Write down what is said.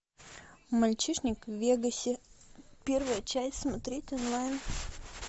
мальчишник в вегасе первая часть смотреть онлайн